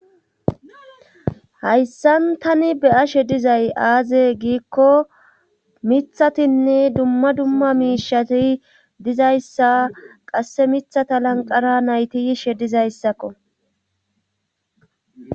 hayssan tani be7ashe dizay aaze giikko mithathinne dumma dumma miishshati dizayssa qasse mithata lanqqera nayti yishe dizayssakko.